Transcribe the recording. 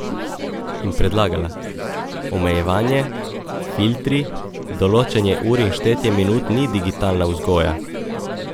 In predlagala: 'Omejevanje, filtri, določanje ur in štetje minut ni digitalna vzgoja.